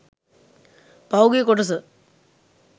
පහුගිය කොටස